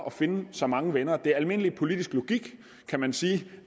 at finde så mange venner som muligt det er almindelig politisk logik kan man sige